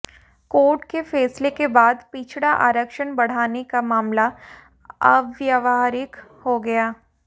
court के फैसले के बाद पिछड़ा आरक्षण बढ़ाने का मामला अव्वहारिक हो गया